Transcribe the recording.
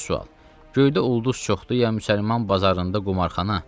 Üçüncü sual: Göydə ulduz çoxdur ya müsəlman bazarında qumarxana?